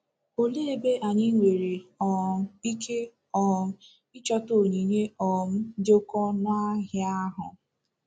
Olee ebe anyị nwere um ike um ịchọta onyinye um dị oké ọnụ ahịa ahụ?